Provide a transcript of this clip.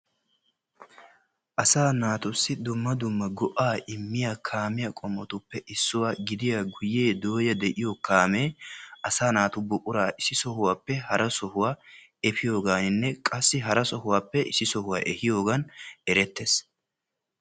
asa naatussi dummadumma go'a immiya kaametuppe issuwaa gidiyaa guyyiyaa kalo gidiyaa kaame asa naatu buqura ississappe harassa efiyooganne qassi efiyoogan erettees.